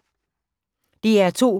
DR2